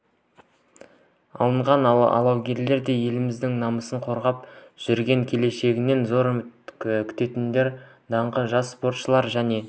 алынған алаугер де еліміздің намысын қорғап жүрген келешегінен зор үміт күттіретін даңқты жас спортшылар және